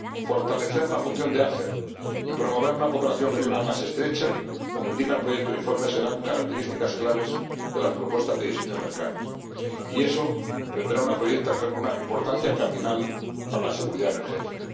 Fortalecer la función de ACER y promover una cooperación regional más estrecha, como indica el proyecto de informe, serán características claves de las propuestas de diseño de mercado, y eso tendrá una importancia cardinal para la seguridad energética.